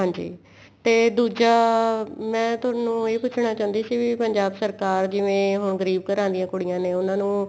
ਹਾਂਜੀ ਤੇ ਦੂਜਾ ਮੈਂ ਤੁਹਾਨੂੰ ਇਹ ਪੁੱਛਣਾ ਚਾਹੁੰਦੀ ਸੀ ਵੀ ਪੰਜਾਬ ਸਰਕਾਰ ਜਿਵੇਂ ਹੁਣ ਗਰੀਬ ਘਰ ਦੀ ਕੁੜੀਆਂ ਨੇ ਉਹਨਾ ਨੂੰ